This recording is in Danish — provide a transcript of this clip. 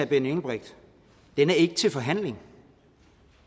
benny engelbrecht den er ikke til forhandling